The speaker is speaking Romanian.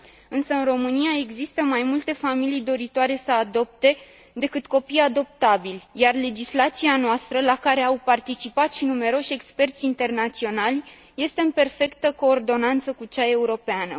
Însă, în România, există mai multe familii doritoare să adopte, decât copii adoptabili, iar legislația noastră, la care au participat și numeroși experți internaționali, este în perfectă coordonare cu cea europeană.